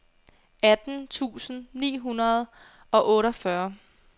atten tusind ni hundrede og otteogfyrre